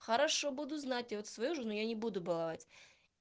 хорошо буду знать я вот свою жену я не буду баловать